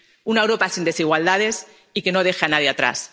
una Europa sin desigualdades y que no deja a nadie atrás.